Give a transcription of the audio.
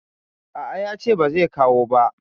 A a, ya ce ba zai kawo ba.